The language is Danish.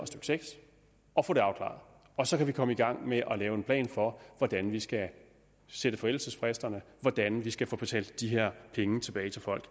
seks og få det afklaret og så kan vi komme i gang med at lave en plan for hvordan vi skal sætte forældelsesfristerne og hvordan vi skal få betalt de her penge tilbage til folk